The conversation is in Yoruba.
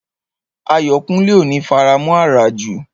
Ayọ̀kúnlé ò ní faramọ̀ àràjù